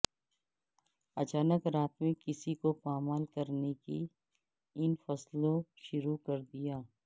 اچانک رات میں کسی کو پامال کرنے کی ان فصلوں شروع کر دیا